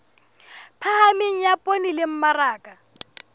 phahameng ya poone le mmaraka